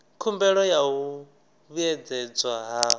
khumbelo ya u vhuedzedzwa ha